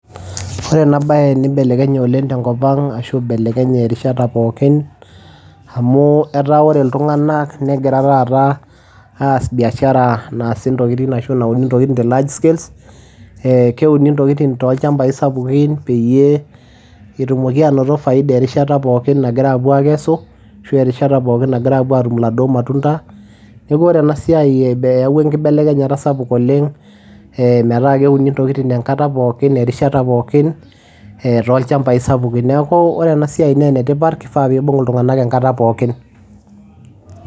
Ore ena baye nibelekenye oleng' tenkop ang' ashu ibelekenye erishata pookin amu etaa ore iltung'anak negira taata aas biashara naasi ashu nauni ntokitin te large scales ee keuni ntokitin tolchambai sapukin peyie etumoki anoto faida erishata pookin nagira apuo aakesu ashu a erishata pookin nagira aatum iladuo matunda neeku ore ena siai eyaua enkibelekenyata sapuk oleng' ee metaa keuni ntokitin enkata pookin erishata pookin ee tolchambai sapukin, neeku ore ena siai naa enetipata kifaa pi ibung' iltung'anak enkata pookin.